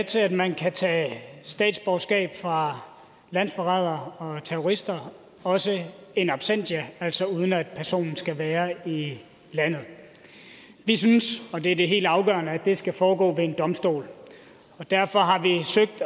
til at man kan tage statsborgerskabet fra landsforrædere og terrorister også in absentia altså uden at personen skal være i landet vi synes og det er det helt afgørende at det skal foregå ved en domstol og derfor